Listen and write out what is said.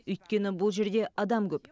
өйткені бұл жерде адам көп